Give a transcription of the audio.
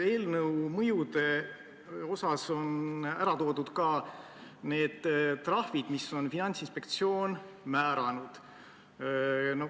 Eelnõu mõjudest rääkivas osas on ära toodud ka need trahvid, mida Finantsinspektsioon on määranud.